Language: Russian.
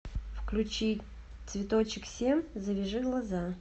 включи цветочек семь завяжи глаза